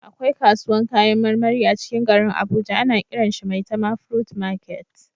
Akwai kasuwan kayan marmari a cikin garin abuja ana kiran shi "maitama fruit market"